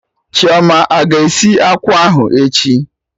Chioma aga esi akwụ ahụ echi?